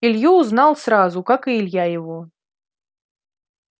илью узнал сразу как и илья его